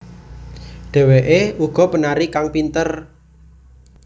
Dheweké uga penari kang pinter